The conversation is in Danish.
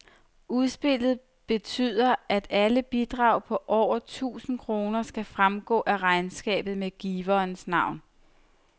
Udspillet betyder, at alle bidrag på over tusind kroner skal fremgå af regnskabet med giverens navn.